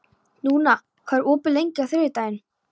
Dúna, hvað er opið lengi á þriðjudaginn?